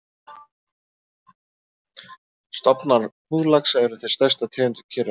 Stofnar hnúðlaxa eru þeir stærstu af tegundum Kyrrahafslaxa.